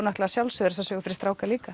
að sjálfsögðu eru þessar sögur fyrir stráka líka